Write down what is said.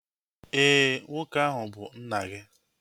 Éè, nwoke ahu bu nna gị